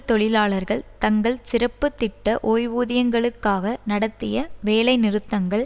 தொழிலாளர்கள் தங்கள் சிறப்பு திட்ட ஓய்வூதியங்களுக்காக நடத்திய வேலைநிறுத்தங்கள்